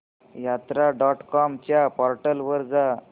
यात्रा dot com च्या portal वर जा